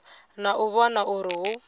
na u vhona uri hu